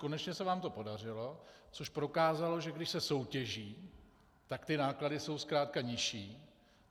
Konečně se vám to podařilo, což prokázalo, že když se soutěží, tak ty náklady jsou zkrátka nižší.